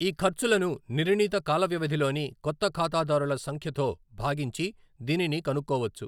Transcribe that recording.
ఈ ఖర్చులను నిర్ణీత కాలవ్యవధిలోని కొత్త ఖాతాదారుల సంఖ్యతో భాగించి దీనిని కనుక్కోవచ్చు.